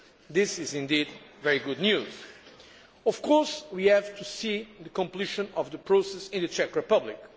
This is indeed very good news. Of course, we have to see the completion of the process in the Czech Republic.